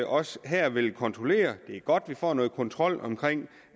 også her vil kontrollere det er godt vi får noget kontrol omkring